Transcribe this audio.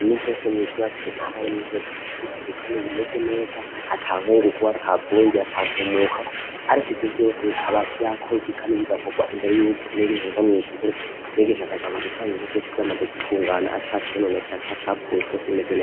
Imisi yose mw'ishure hategerezwa kuba hari intebe zifise isuku Kandi zisa neza ata nkugungu, ata vumbi, ata ntumuko, ariko ivyo vyose bukaba vyakozwe kandi bigakorwa imbere yuko umwigisha yinjira mw'ishure, umwigisha akaja kuza ibintu vyamaze gutungana ata cononekaye, atacapfuye, vyose bimeze neza.